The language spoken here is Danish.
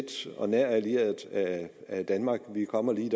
tæt og nær allieret af danmark vi kommer lige